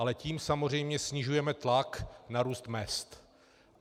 Ale tím samozřejmě snižujeme tlak na růst mezd.